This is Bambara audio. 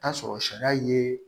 Taa sɔrɔ sariya ye